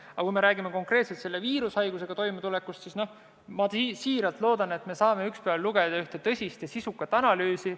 Aga kui räägime konkreetselt selle viirushaigusega toimetulekust, siis ma siiralt loodan, et saame ühel päeval lugeda selle kohta üht tõsist ja sisukat analüüsi.